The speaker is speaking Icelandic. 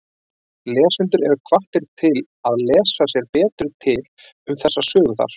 Lesendur eru hvattir til að lesa sér betur til um þessa sögu þar.